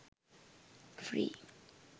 free